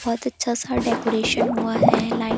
बहुत अच्छा -सा डेकोरेशन हुआ है लाइट --